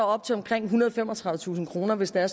op til omkring ethundrede og femogtredivetusind kr hvis det er